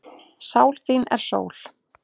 Sál þín er sól.